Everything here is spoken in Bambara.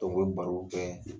u bɛ barow kɛ